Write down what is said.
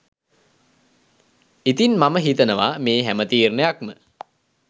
ඉතින් මම හිතනවා මේ හැම තීරණයක්ම